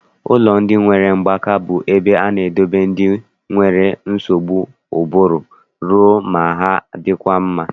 Ụlọ ndị nwere mgbaka bụ ebe a na-edote ndị nwere nsogbu ụbụrụ rue na ha adịkwa mma.